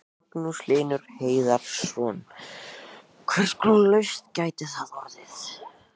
Magnús Hlynur Hreiðarsson: Hvers konar lausn gæti það orðið?